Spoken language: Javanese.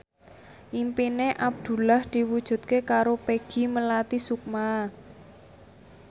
impine Abdullah diwujudke karo Peggy Melati Sukma